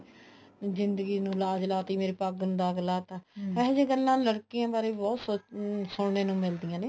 ਜਿੰਦਗੀ ਨੂੰ ਲਾਜ ਲਾਤੀ ਮੇਰੀ ਪੱਗ ਨੂੰ ਦਾਗ ਲਾਤਾ ਇਹੋ ਜਿਹੀਆਂ ਗੱਲਾਂ ਲੜਕੀਆਂ ਬਾਰੇ ਬਹੁਤ ਸੁਣਨ ਨੂੰ ਮਿਲਦੀਆਂ ਨੇ